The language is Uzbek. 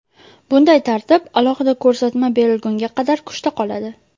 Bunday tartib alohida ko‘rsatma berilgunga qadar kuchda qoladi.